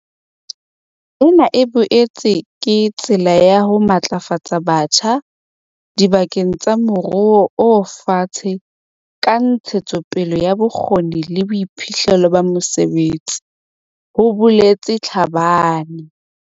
"Ena e boetse ke tsela ya ho matlafatsa batjha diba keng tsa moruo o fatshe ka ntshetsopele ya bokgoni le boiphihlello ba mosebetsi," ho boletse Tlhabane.